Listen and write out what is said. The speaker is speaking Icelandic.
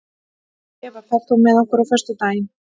Eva, ferð þú með okkur á föstudaginn?